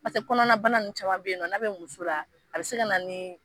Paseke kɔnɔnabana nunnu caman be nɔn' be muso la a be se ka na ni